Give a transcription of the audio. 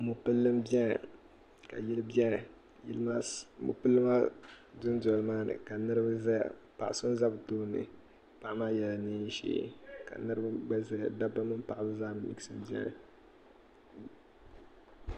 Mopili m biɛni ka yili biɛni mopili maa dundoli maa gbini ka niriba zaya paɣa so za bɛ tooni paɣa maa yela niɛn'ʒee ka niriba gba zaya dabba mini paɣaba zaa miɣisimi biɛni.